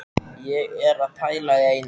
Ég er að pæla í einu.